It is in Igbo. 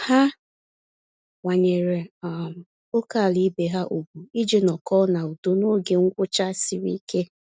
Ha kwanyere um ókèala ibe ha ùgwù iji nọkọ na-udo n'oge ngwụcha sịrị ike